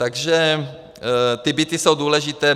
Takže ty byty jsou důležité.